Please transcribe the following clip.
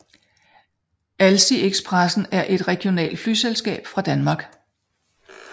Alsie Express er et regionalt flyselskab fra Danmark